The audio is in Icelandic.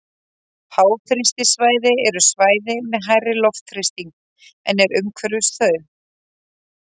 háþrýstisvæði eru svæði með hærri loftþrýsting en er umhverfis þau